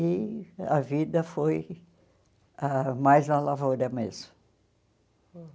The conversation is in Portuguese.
E a vida foi ah mais a lavoura mesmo.